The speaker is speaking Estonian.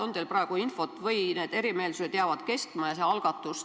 On teil praegu selle kohta infot või need lahkarvamused jäävad püsima?